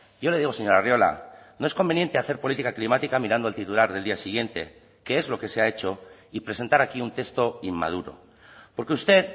yo le digo señor arriola no es conveniente hacer política climática mirando el titular del día siguiente que es lo que se ha hecho y presentar aquí un texto inmaduro porque usted